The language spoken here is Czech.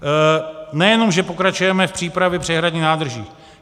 Nejenom že pokračujeme v přípravě přehradních nádrží.